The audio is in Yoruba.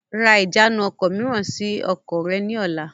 Ra ìjánu ọkọ̀ mìíràn sì ọkọ̀ rẹ ni ọ̀la!